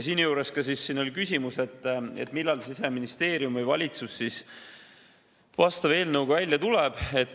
" Siin oli ka küsimus, millal Siseministeerium või valitsus vastava eelnõuga välja tuleb.